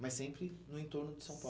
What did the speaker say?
Mas sempre no entorno de São